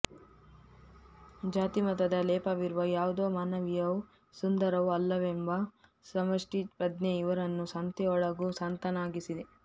ಜಾತಿ ಮತದ ಲೇಪವಿರುವ ಯಾವುದೂ ಮಾನವೀಯವೂ ಸುಂದರವೂ ಅಲ್ಲವೆಂಬ ಸಮಷ್ಟಿ ಪ್ರಜ್ಞೆ ಇವರನ್ನು ಸಂತೆಯೊಳಗೂ ಸಂತನನ್ನಾಗಿಸಿದೆ